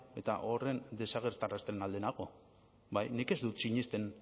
eta horren desagertarazten alde nago bai nik ez dut sinesten